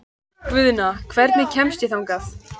Guðna, hvernig kemst ég þangað?